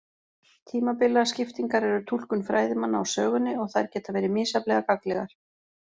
Tímabilaskiptingar eru túlkun fræðimanna á sögunni og þær geta verið misjafnlega gagnlegar.